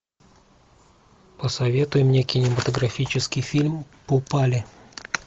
посоветуй мне кинематографический фильм попали